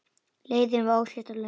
Leiðin var óslétt og löng.